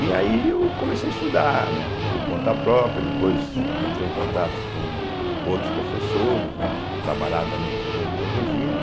E aí eu comecei a estudar, né, por conta própria, depois entrei em contato com outros professores, né que trabalhavam também com limnologia, né.